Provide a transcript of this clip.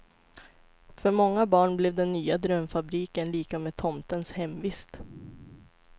För många barn blev den nya drömfabriken lika med tomtens hemvist.